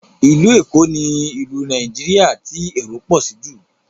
Ilu Ékò ni ìlú Nàìjíríà ti èrò pọ sí jù